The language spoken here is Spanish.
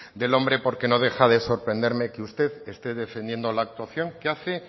del hombre porque no deja de sorprenderme que usted esté defendiendo la actuación que hace